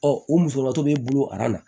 Ɔ o musolakaw b'e bolo na